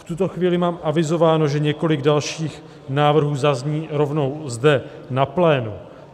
V tuto chvíli mám avizováno, že několik dalších návrhů zazní rovnou zde na plénu.